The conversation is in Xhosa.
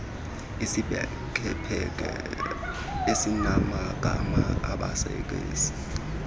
iziphekephekana ezinamagama abasebezi